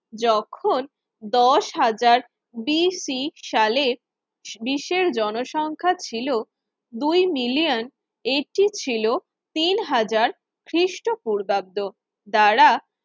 যখন দশ হাজার সালের বিশ্বের জনসংখ্যা ছিল দুই মিলিয়ন এটি ছিল তিন হাজার খ্রিস্টপূর্বাব্দ দ্বারা